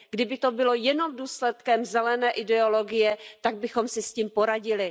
Kdyby to bylo jenom důsledkem zelené ideologie, tak bychom si s tím poradili.